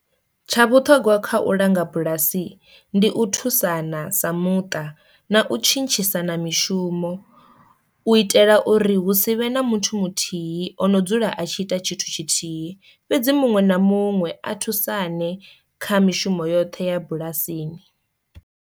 Tsha vhuṱhogwa kha u langa bulasi, ndi u thusana sa muṱa na u tshintshisana mishumo u itela uri hu si vhe na muthu muthihi ono dzula a tshi ita tshithu tshithihi, fhedzi muṅwe na muṅwe a thusane kha mishumo yoṱhe ya bulasini.